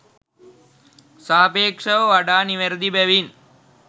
සාපේක්ෂව වඩා නිවැරදි බැවින්